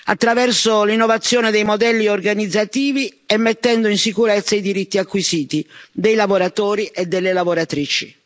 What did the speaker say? attraverso l'innovazione dei modelli organizzativi e mettendo in sicurezza i diritti acquisiti dei lavoratori e delle lavoratrici.